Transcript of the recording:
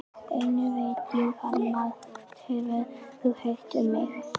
Einnig veit ég að margt hefur þú heyrt um mig.